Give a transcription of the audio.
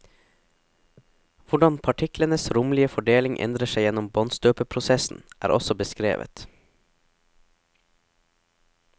Hvordan partiklenes romlige fordeling endrer seg gjennom båndstøpeprosessen, er også beskrevet.